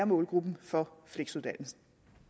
målgruppen for fleksuddannelsen